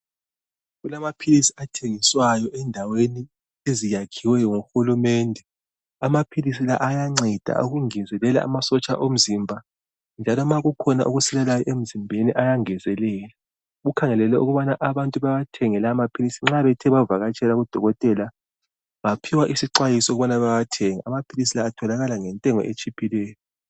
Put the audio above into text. Kulamaphilisi athengiswayo endaweni eziyakhiweyo nguhulumende. Amaphilisi la ayanceda ukungezelela amasotsha omzimba njalo ma kukhona okusilelayo emzimbeni ayangezelela. Kukhangelelwe ukubana abantu bawathenge lawo maphilisi nxa bethe bavakatshela kudokotela baphiwa isixwayiso ukubana bawathenge. Amaphilisi la atholakala ngentengo etshiphileyo.